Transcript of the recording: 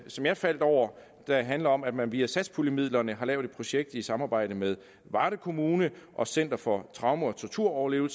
som jeg faldt over der handler om at man via satspuljemidlerne har lavet et projekt i samarbejde med varde kommune og center for traume og torturoverlevere